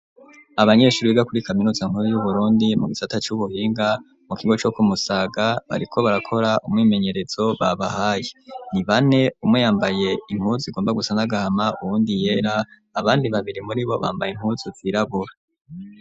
Abanyeshuri biga kuri kaminuza nkuru yu Burundi mu gisata c'ubuhinga mu kigo co Ku Musaga bariko barakora umwimenyerezo babahaye ni bane umwe yambaye inpuzu igomba gusa n'agahama uwundi yera abandi babiri muribo bambaye inpuzu zirabura.